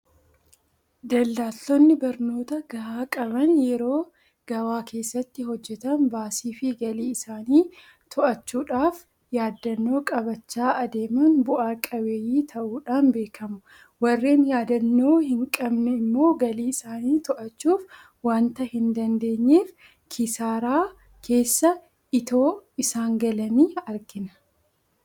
Daldaltoonni barnoota gahaa qaban yeroo gabaa keessatti hojjetan baasiifi galii isaanii to'achuudhaaf yaadannoo qabachaa adeeman bu'a qabeeyyii ta'uudhaan beekamu. Warreen yaadannoo hinqabanne immoo galii isaanii to'achuu waanta hindandeenyeef kisaaraa keessa itoo isaan galanii argina.